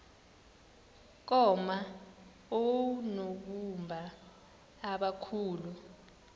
koma oonobumba abakhulu